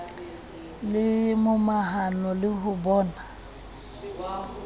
le momahano le ho bona